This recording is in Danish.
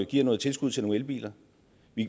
give noget tilskud til nogle elbiler